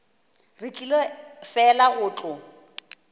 re tlile fela go tlo